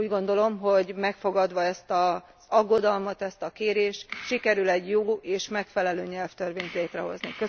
S úgy gondolom, hogy megfogadva ezt az aggodalmat, ezt a kérést, sikerül egy jobb és megfelelő nyelvtörvényt létrehozni.